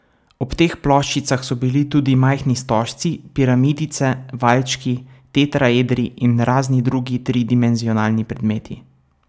Ob teh ploščicah so bili tudi majhni stožci, piramidice, valjčki, tetraedri in razni drugi tridimenzionalni predmeti.